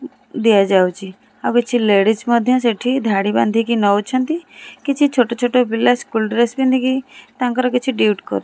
ଦିଆ ଯାଉଚି ଆଉ କିଛି ଲେଡ଼ିସ୍ ମଧ୍ୟ ସେଠି ଧାଡ଼ି ବାନ୍ଧିକି ନଉଛନ୍ତି କିଛି ଛୋଟ-ଛୋଟ ପିଲା ସ୍କୁଲ ଡ୍ରେସ ପିନ୍ଧିକି ତାଙ୍କର କିଛି ଡ୍ୟୁଟି କର --